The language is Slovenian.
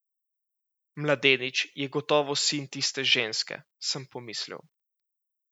Mladenič je gotovo sin tiste ženske, sem pomislil.